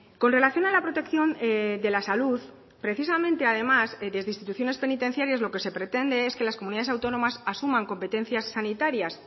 con relación a la protección de la salud precisamente además desde instituciones penitenciarias lo que se pretende es que las comunidades autónomas asuman competencias sanitarias